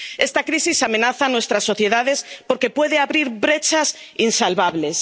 Esta crisis amenaza a nuestras sociedades porque puede abrir brechas insalvables.